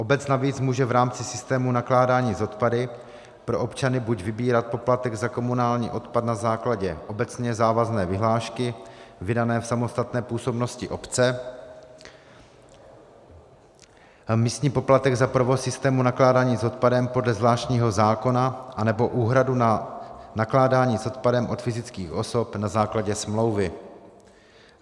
Obec navíc může v rámci systému nakládání s odpady pro občany buď vybírat poplatek za komunální odpad na základě obecně závazné vyhlášky vydané v samostatné působnosti obce, místní poplatek za provoz systému nakládání s odpadem podle zvláštního zákona, anebo úhradu na nakládání s odpadem od fyzických osob na základě smlouvy.